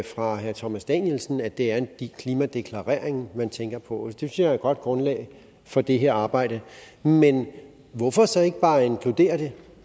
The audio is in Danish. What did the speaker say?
fra herre thomas danielsen at det er en klimadeklarering man tænker på og det synes jeg er et godt grundlag for det her arbejde men hvorfor så ikke bare inkludere det